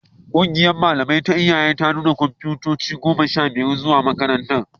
Ƙungiyar malamai ta iyaye ta nuna kwamfuta goma sha biyar zuwa makarantar